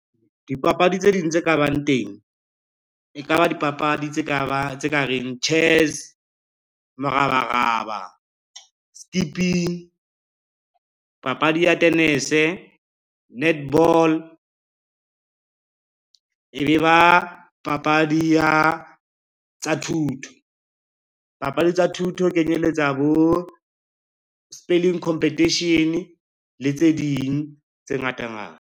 Dipapadi tse ding tse ka bang teng, e ka ba dipapadi tse ka reng chess, morabaraba, skipping, papadi ya tenese, netball. E be ba papadi tsa thuto, papadi tsa thuto di kenyeletsa bo spelling competition le tse ding tse ngatangata.